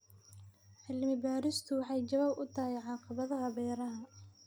Cilmi baaristu waxay jawaab u tahay caqabadaha beeraha.